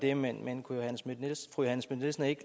er man nødt til at